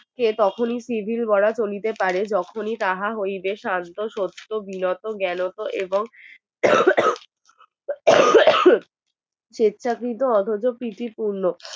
তখনই তিনি বড় চলিতে পারে যখনই তাহা হইবে শান্ত সত্য বিনত জ্ঞানত এবং সেচ্ছা কৃত অথচ পৃথ্বীর পূর্ণ